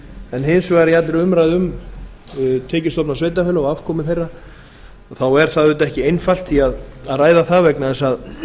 en hins vegar í allri umræðu um tekjustofna sveitarfélaga og afkomu þeirra er auðvitað ekki einfalt að ræða það vegna þess að